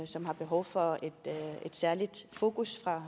som har behov for et særligt fokus